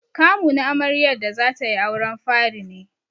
Kamu na amaryar da zatai auren fari ne.